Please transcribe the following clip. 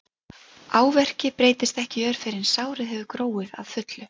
Áverki breytist ekki í ör fyrr en sárið hefur gróið að fullu.